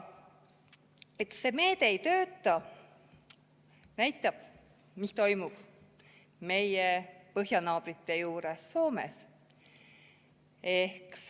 Et see meede ei tööta, näitab see, mis toimub meie põhjanaabrite juures Soomes.